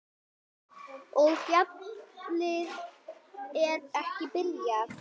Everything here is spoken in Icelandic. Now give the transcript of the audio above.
Og ballið er ekki byrjað.